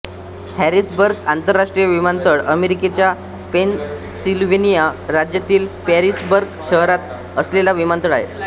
Harrisburg आंतरराष्ट्रीय विमानतळ अमेरिकेच्या पेनसिल्व्हेनिया राज्यातील हॅरिसबर्ग शहरात असलेला विमानतळ आहे